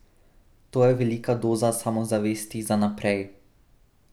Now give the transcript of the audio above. To je velika doza samozavesti za naprej.